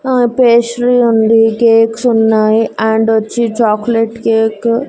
ఆ పేస్ట్రీ ఉంది కేక్స్ ఉన్నాయి అండ్ వచ్చి చాక్లెట్ కేకు --